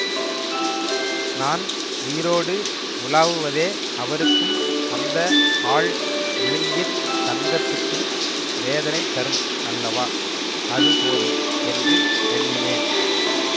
நான் உயிரோடு உலாவுவதே அவருக்கும் அந்த ஆள் விழுங்கித் தங்கத்துக்கும் வேதனை தரும் அல்லவா அது போதும் என்று எண்ணினேன்